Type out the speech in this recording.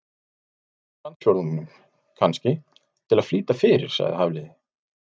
Einhvern úr landsfjórðungnum, kannski, til að flýta fyrir- sagði Hafliði.